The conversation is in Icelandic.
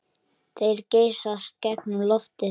Þeir geysast gegnum loftið.